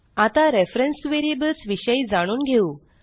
आता reference variables विषयी जाणून घेऊ